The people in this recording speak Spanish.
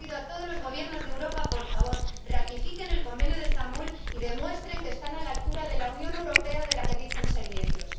Y yo les pido a todos los Gobiernos de Europa que, por favor, ratifiquen el Convenio de Estambul y demuestren que están a la altura de la Unión Europea de la que dicen ser miembros.